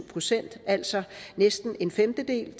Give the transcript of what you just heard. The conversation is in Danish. procent altså næsten en femtedel og